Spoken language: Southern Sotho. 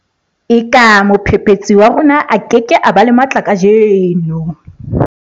Eka mophephetsi wa rona a ke ke ba le matla kajeno